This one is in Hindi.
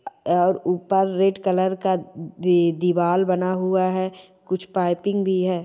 और ऊपर रेड कलर का दी दीवाल बना हुआ है कुछ पाइपिग भी हैं ।